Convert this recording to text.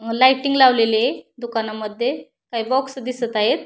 Lighting लावलेली ये दुकानामध्ये काही बॉक्स दिसत आहेत.